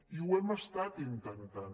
i ho hem estat intentant